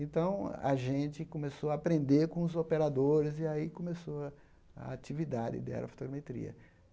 Então, a gente começou a aprender com os operadores, e aí começou a a atividade de aerofotogrametria.